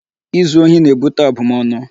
Izu ohi na-ebute abụmọnụ.